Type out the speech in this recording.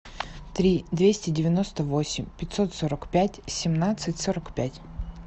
три двести девяносто восемь пятьсот сорок пять семнадцать сорок пять